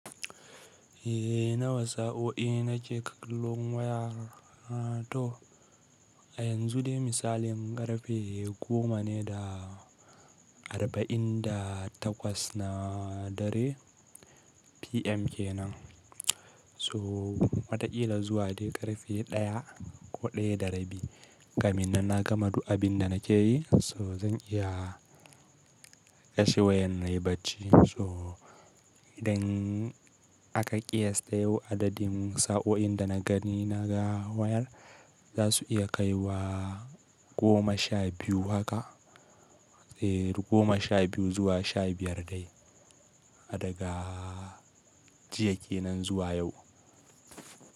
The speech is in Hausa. Eh nawa sa'o'i nake ƙallon waya na to. A yanzu dai misalin ƙarfe goma ne da arba'in da takwas na dare PM kenan. So wataƙila zuwa dai ƙarfe ɗaya ko ɗaya da rabi. Kamin nan na gama duk abin da nake yi, so zan iya kashe wayan na yi bacci. To idan aka ƙiyasta yau adadin sa'o'in da na gani na ga wayar za su iya kai wa goma sha biyu haka. Eh goma sha biyu zuwa sha biyar dai. A daga jiya kenan zuwa yau.